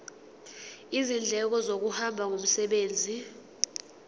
izindleko zokuhamba ngomsebenzi